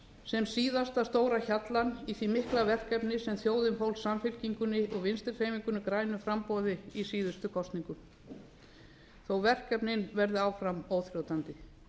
sem síðasta stóra hjallann í því mikla verkefni sem þjóðin fól samfylkingunni og vinstri hreyfingunni grænu framboði í síðustu kosningum þó verkefnin verði áfram óþrjótandi